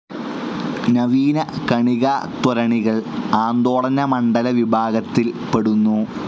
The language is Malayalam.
നവീന കണികാത്വരണികൾ ആന്ദോളനമണ്ഡല വിഭാഗത്തിൽ പെടുന്നു.